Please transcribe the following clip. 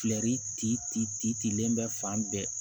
len bɛ fan bɛɛ